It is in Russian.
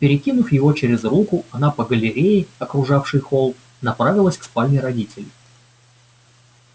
перекинув его через руку она по галерее окружавшей холл направилась к спальне родителей